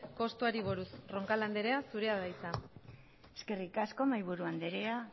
kostuei buruz roncal anderea zurea da hitza eskerrik asko mahaiburu anderea